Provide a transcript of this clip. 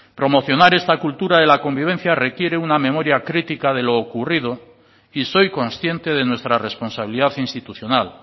promocionar esta cultura de la convivencia requiere una memoria critica de lo ocurrido y soy consciente de nuestra responsabilidad institucional